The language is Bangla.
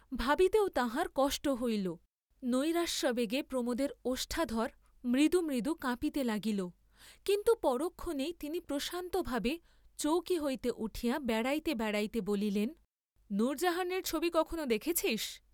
ভাবিতেও তাঁহার কষ্ট হইল, নৈরাশ্যাবেগে প্রমোদের ওষ্ঠাধর মৃদু মৃদু কাঁপিতে লাগিল, কিন্তু পরক্ষণেই তিনি প্রশান্ত ভাবে চৌকি হইতে উঠিয়া বেড়াইতে বেড়াইতে বলিলেন, নূরজাহানের ছবি কখনো দেখেছিস্?